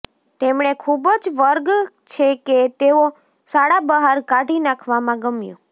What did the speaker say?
તેમણે ખૂબ જ વર્ગ છે કે તેઓ શાળા બહાર કાઢી નાખવામાં ગમ્યું